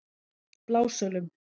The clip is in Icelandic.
Blásölum